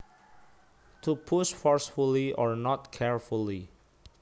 To push forcefully or not carefully